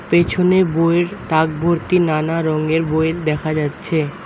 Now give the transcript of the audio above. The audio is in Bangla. পেছনে বইয়ের তাকভর্তি নানা রঙের বইয়ের দেখা যাচ্ছে।